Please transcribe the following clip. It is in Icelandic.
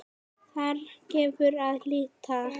Þar gefur að líta